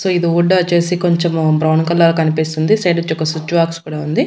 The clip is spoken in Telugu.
సో ఇది వుడ్డొచ్చేసి కొంచెము బ్రౌన్ కలర్ కనిపిస్తుంది సైడొచ్చి ఒక స్విచ్ బాక్స్ కూడా ఉంది.